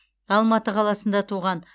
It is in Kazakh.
алматы қаласында туған